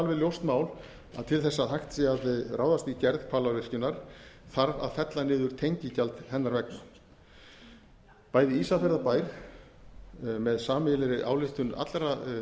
alveg ljóst mál að til þess að hægt sé að ráðast í gerð hvalárvirkjunar þarf að fella niður tengigjald hennar vegna bæði ísafjarðarbær með sameiginlegri ályktun allra